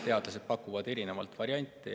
Teadlased pakuvad erinevaid variante.